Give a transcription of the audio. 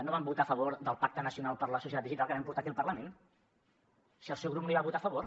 no van votar a favor del pacte nacional per la societat digital que vam portar aquí al parlament si el seu grup no hi va votar a favor